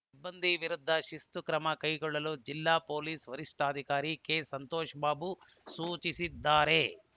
ಸಿಬ್ಬಂದಿ ವಿರುದ್ಧ ಶಿಸ್ತು ಕ್ರಮ ಕೈಗೊಳ್ಳಲು ಜಿಲ್ಲಾ ಪೊಲೀಸ್‌ ವರಿಷ್ಠಾಧಿಕಾರಿ ಕೆಸಂತೋಷಬಾಬು ಸೂಚಿಸಿದ್ದಾರೆ